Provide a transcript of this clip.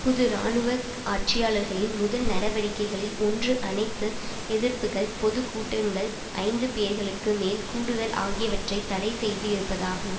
புது இராணுவ ஆட்சியாளர்களின் முதல் நடவடிக்கைகளில் ஒன்று அனைத்து எதிர்ப்புகள் பொது கூட்டங்கள் ஐந்து பேர்களுக்கு மேல் கூடுதல் ஆகியவற்றை தடை செய்து இருப்பதாகும்